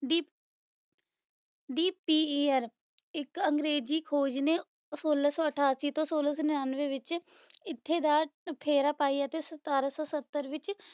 ਦੀ ਅਹ ਦੀਪ ਪੀਅਰ ਇੱਕ ਅੰਗਰੇਜ਼ ਖੋਜ ਨੇ ਸੋਲਾਂ ਸੌ ਅਠਾਸੀ ਅਤੇ ਫਿਰ ਸੋਲਾਂ ਸੌ ਨਿਆਂਨਵੇਂ ਵਿੱਚ ਇੱਥੇ ਦਾ ਫੇਰਾ ਪਾਇਆ ਤੇ ਸਤਾਰਾਂ ਸੌ ਸੱਤਰ ਵਿੱਚ